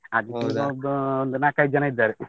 ಒಂದು ನಾಕೈದು ಜನ ಇದ್ದಾರೆ.